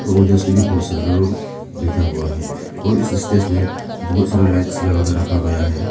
और जिसके लिए बहुत सारे बैठा हुआ है और इस स्टेज में बहुत सारा लाइट्स लगा कर के रखा गया है।